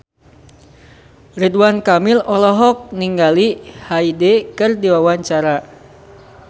Ridwan Kamil olohok ningali Hyde keur diwawancara